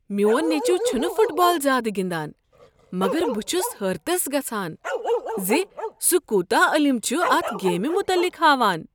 میون نیٚچو چھنہٕ فٹ بال زیادٕ گندان مگر بہٕ چھس حیرتس گژھان ز سہ کوتاہ علم چھ اتھ گیمِہ متعلق ہاوان۔